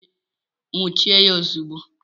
Nwuchie ya ozugbo!